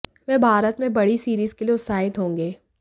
वह भारत में बड़ी सीरीज के लिए उत्साहित होंगे